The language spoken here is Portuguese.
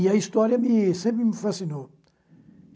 E a história me sempre me fascinou.